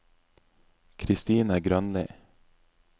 Christine Grønli